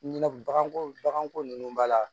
Ɲinɛ baganko baganko ninnu b'a la